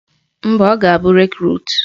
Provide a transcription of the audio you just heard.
Mba, ọ ga-abụ Rekrut